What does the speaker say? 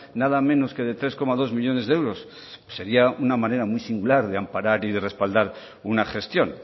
nada menos que de tres coma dos millónes de euros sería una manera muy singular de amparar y de respaldar una gestión